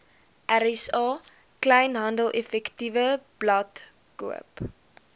rsa kleinhandeleffektewebblad koop